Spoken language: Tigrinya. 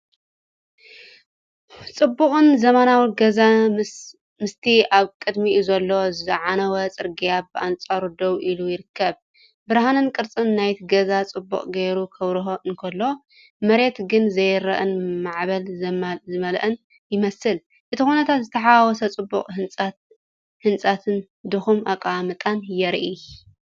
ጽቡቕን ዘመናውን ገዛ ምስቲ ኣብ ቅድሚኡ ዘሎ ዝዓነወ ጽርግያ ብኣንጻሩ ደው ኢሉ ይርከብ። ብርሃንን ቅርጽን ናይቲ ገዛ ጽቡቕ ጌሩ ክበርህ እንከሎ፡ መሬት ግን ዘይርአን ማዕበል ዝመልኦን ይመስል። እቲ ኩነታት ዝተሓዋወሰ ጽቡቕ ህንጸትን፣ ድኹም ኣቀማምጣን የርኢ።